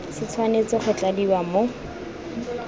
se tshwanetse go tladiwa mo